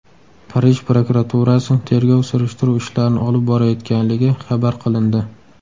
Parij prokuraturasi tergov surishtiruv ishlarini olib borayotganligi xabar qilindi .